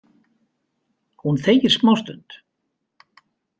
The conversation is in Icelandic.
Hún þegir smástund.